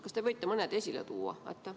Kas te võite mõne esile tuua?